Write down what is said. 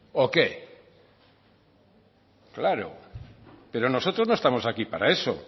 o qué claro pero nosotros no estamos aquí para eso